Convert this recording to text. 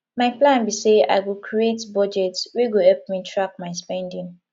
my plan be say i go create budget wey go help me track my spending